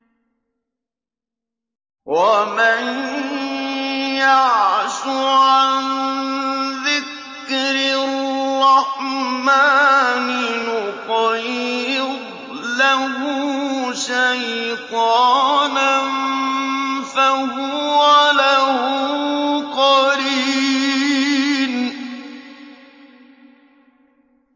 وَمَن يَعْشُ عَن ذِكْرِ الرَّحْمَٰنِ نُقَيِّضْ لَهُ شَيْطَانًا فَهُوَ لَهُ قَرِينٌ